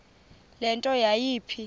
le nto yayipha